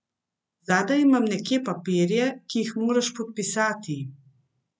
Zadaj imam neke papirje, ki jih moraš podpisati.